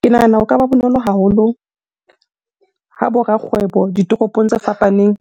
Ke nahana ho ka ba bonolo haholo ha bo rakgwebo ditoropong tse fapaneng